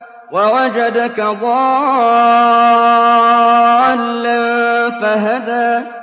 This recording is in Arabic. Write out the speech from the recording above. وَوَجَدَكَ ضَالًّا فَهَدَىٰ